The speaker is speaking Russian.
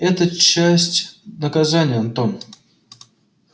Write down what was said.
это часть наказания антон